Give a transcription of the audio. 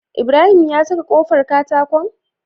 Ibrahim ya saka kofar katakon?